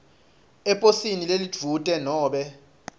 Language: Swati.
eposini lelidvute nobe